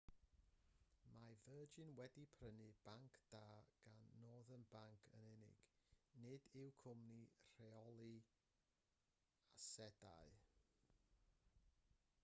mae virgin wedi prynu'r banc da gan northern bank yn unig nid y cwmni rheoli asedau